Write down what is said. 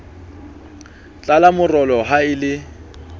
tlala morolo ha e le